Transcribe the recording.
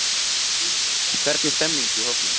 Hvernig stemmningin í hópnum?